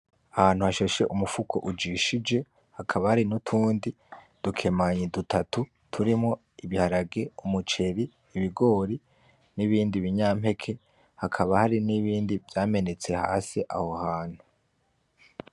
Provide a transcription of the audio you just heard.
Ahantu hashashe umufuko ujishije, hakaba hari n'utundi dukemanyi dutatu turimwo ibiharage, umuceri , ibigori n'ibindi binya mpeke, hakaba hari n'ibindi vyamenetse hasi, aho hantu.